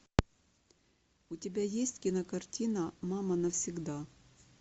у тебя есть кинокартина мама навсегда